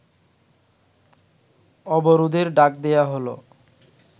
অবরোধের ডাক দেয়া হলো